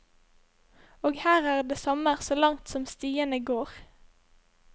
Og her er det sommer så langt som stiene går.